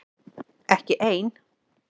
Ekki einn